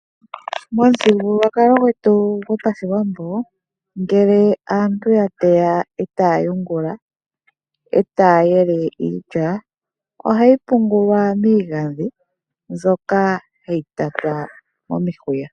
Momuthigululwakalo gwetu gwopashiwambo ngele aantu yateya etaya yele iilya ohayi pungulwa miigandhi mbyoka hayi tatwa momihuya.